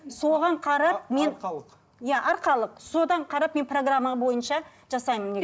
соған қарап мен арқалық иә арқалық содан қарап мен программа бойынша жасаймын